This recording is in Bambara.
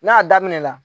N'a daminɛna